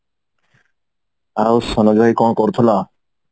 ଆଉ ସୋନୁ ଭାଇ କଣ କରୁଥିଲ